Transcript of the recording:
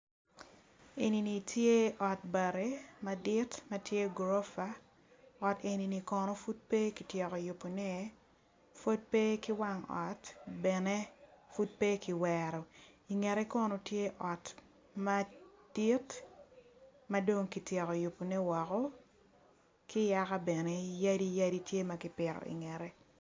Enini tye ot bati madit matye ot gorofa ot enini kono pud pe kityeko yubone pud pe ki wang ot bene pud pe kiwero i ngete kono tye ot madit madong kityeko yubo ne woko ki yaka bene yadi yadi tye makipite i ye bene.